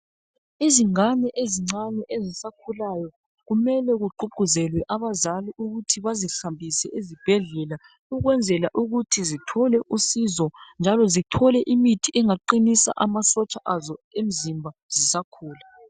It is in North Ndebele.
Izingane ezincane ezisakhulayo kumele kugqugquzelwe abazali ukuthi bezihambise esibhedlela ukwenzela ukuthi zithole usizo njalo zithole imithi engaqinisa amasotsha azo omzimba zisakhula.